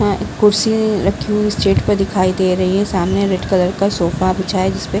में कुर्सी रखी हुई स्टेट पे दिखाई दे रही हैं। सामने रेड कलर का सोफ़ा बिच्छा है जिसपे--